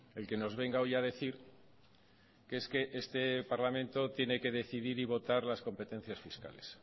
el que nos venga hoy a decir que es que este parlamento tiene que decidir y votar las competencias fiscales